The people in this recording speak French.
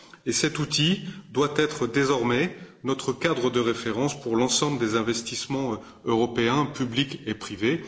Et cet outil doit être désormais notre cadre de référence pour l'ensemble des investissements européens, publics et privés.